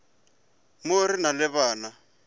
mo re na le bana